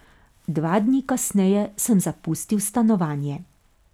Dva dni kasneje sem zapustil stanovanje.